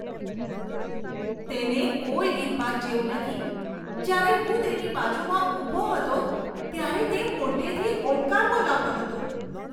તેને કોઈ રીતભાત જેવું નથી. જ્યારે હું તેની બાજુમાં ઊભો હતો, ત્યારે તે મોટેથી ઓડકાર બોલાવતો હતો.